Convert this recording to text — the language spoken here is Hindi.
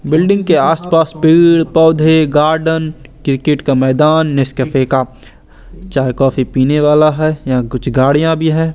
बिल्डिंग के आस पास पेड़ पौधे गार्डन क्रिकेट का मैदान नेसकैफ़े का चाय कॉफ़ी पीने वाला है यहाँ कुछ गाड़ियाँ भी हैं।